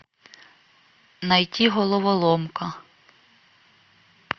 найти головоломка